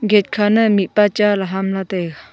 gate khana mihpa chaley hamla taiga.